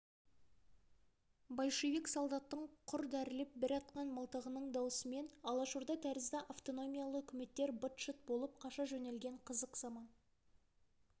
большевик солдаттың құр дәрілеп бір атқан мылтығының дауысымен алашорда тәрізді автономиялы үкіметтер быт-шыт болып қаша жөнелген қызық заман